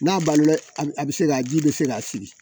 N'a balola a bɛ se k'a ji bɛ se ka sigi